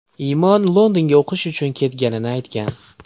Imon Londonga o‘qish uchun ketganini aytgan.